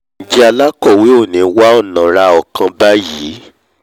njẹ́ alákọ̀wé ò ní wá ọ̀nà ra ọ̀kan báyìí